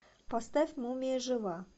поставь мумия жива